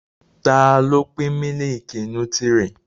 Ta ló pín mílìkì nútírì?